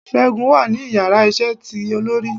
Según wa ni ìyára iṣẹ tí olorí